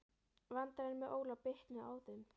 Vandræðin með Óla bitnuðu á þeim.